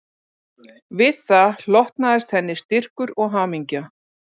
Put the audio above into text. Við það hlotnaðist henni styrkur og hamingja